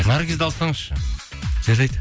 наргизді алсаңызшы жарайды